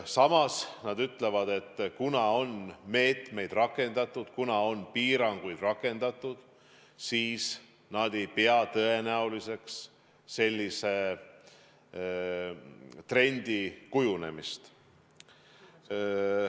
Samas nad ütlevad, et kuna on meetmeid rakendatud, kuna on piiranguid rakendatud, siis nad ei pea tõenäoliseks sellise trendi kujunemist.